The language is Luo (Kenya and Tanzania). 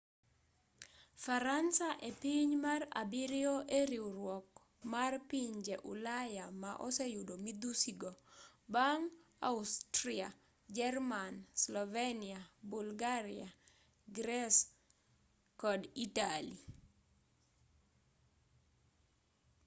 faransa epiny mar abiriyo e riwruok mar pinje ulaya ma oseyudo midhusi go bang' austria jerman slovenia bulgaria greece kod italy